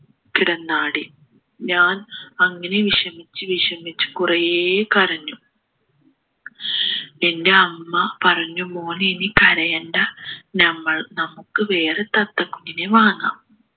കിടന്നാടി ഞാൻ അങ്ങനെ വിഷമിച്ചു വിഷമിച്ചു കുറെ കരഞ്ഞു പിന്നെ അമ്മ പറഞ്ഞു മോനെ നീ കരയേണ്ട നമ്മൾ നമുക്ക് വേറെ തത്ത കുഞ്ഞിനെ വാങ്ങാം